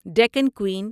Deccan Queen